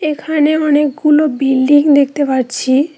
এখানে অনেকগুলো বিল্ডিং দেখতে পাচ্ছি।